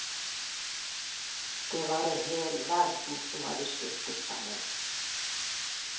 Det var en hel verden som hadde styrtet sammen.